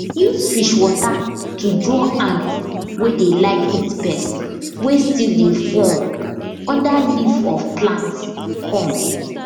use fish water to draw ants wey dey like eat pest wey still dey form under leaf of plants come